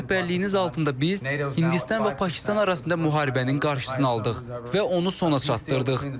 Sizin rəhbərliyiniz altında biz Hindistan və Pakistan arasında müharibənin qarşısını aldıq və onu sona çatdırdıq.